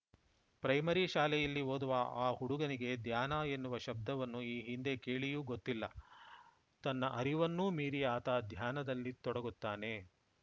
primary ಶಾಲೆಯಲ್ಲಿ ಓದುವ ಆ ಹುಡುಗನಿಗೆ ಧ್ಯಾನ ಎನ್ನುವ ಶಬ್ದವನ್ನು ಈ ಹಿಂದೆ ಕೇಳಿಯೂ ಗೊತ್ತಿಲ್ಲ ತನ್ನ ಅರಿವನ್ನೂ ಮೀರಿ ಆತ ಧ್ಯಾನದಲ್ಲಿ ತೊಡಗುತ್ತಾನೆ